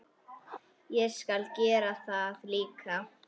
Ég skal gera það líka.